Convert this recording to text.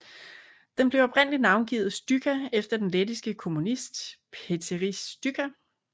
Den blev oprindeligt navngivet Stučka efter den lettiske kommunist Pēteris Stučka